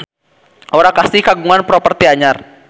Aura Kasih kagungan properti anyar